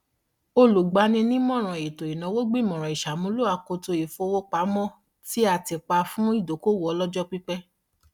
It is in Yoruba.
olùgbaninímọràn ètò ìnáwó gbìmọrán ìṣàmúlò akoto ìfowópamọ tí a tì pa fún ìdókoòwò ọlọjọ pípẹ